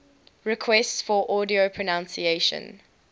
requests for audio pronunciation